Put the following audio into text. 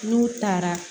N'u taara